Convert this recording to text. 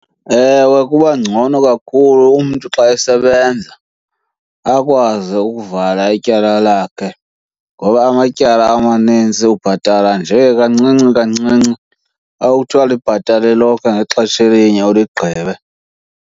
Ewe, kuba ngcono kakhulu umntu xa esebenza akwazi ukuvala ityala lakhe. Ngoba amatyala amanintsi ubhatala nje kancinci kancinci akuthiwa libhatale lonke ngexesha elinye uligqibe.